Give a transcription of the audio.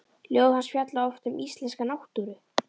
Ljóð hans fjalla oft um íslenska náttúru.